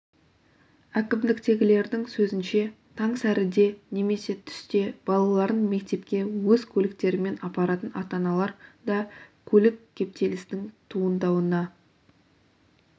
әкімдіктегілердің сөзінше таң сәріде немесе түсте балаларын мектепке өз көліктерімен апаратын ата-аналар да көлік кептелісінің туындауына